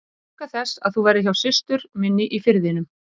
Ég óska þess að þú verðir hjá systur minni í Firðinum.